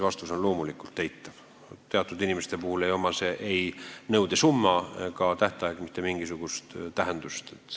Vastus on loomulikult eitav – teatud inimeste puhul ei oma ei nõudesumma ega tähtaeg mitte mingisugust tähtsust.